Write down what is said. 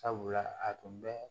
Sabula a tun bɛ